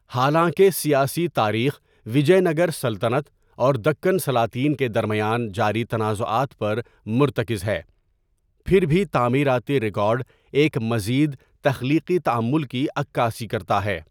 حالانکہ سیاسی تاریخ وجے نگر سلطنت اور دکن سلاطین کے درمیان جاری تنازعات پر مرتکز ہے، پھر بھی تعمیراتی ریکارڈ ایک مزید تخلیقی تعامل کی عکاسی کرتا ہے۔